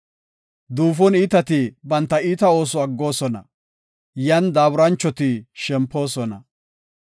Duufon iitati banta iita ooso aggoosona; yan daaburanchoti shempoosona.